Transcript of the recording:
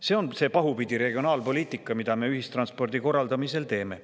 See on see pahupidi regionaalpoliitika, mida me ühistranspordi korraldamisel teeme.